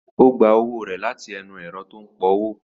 Ó gba owó rẹ̀ láti ilé inú ẹ̀rọ tó ń pọ owó